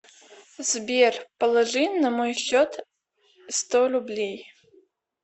сбер положи на мой счет сто рублей